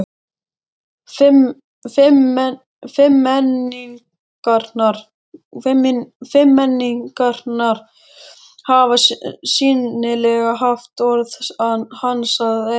Fimmmenningarnir hafa sýnilega haft orð hans að engu.